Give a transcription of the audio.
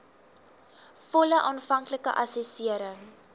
volle aanvanklike assessering